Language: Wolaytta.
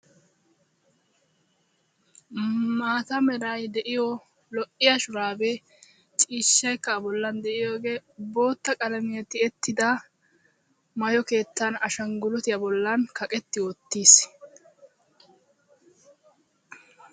Maata merayi de'iyo lo'iya shuraabee ciishshaykka a bollan de"iyogee bootta qalamiyan tiyettida maayo keettan ashanggiluutiya bollan kaqetti wottis.